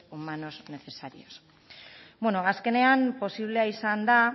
humanos necesarios azkenean posiblea izan da